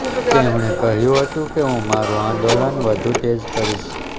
તેમણે કહ્યું હતું કે હું મારું આંદોલન વધુ તેજ કરીશ